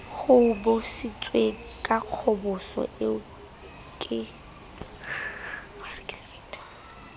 hobositsweng ka kgoboso eo ke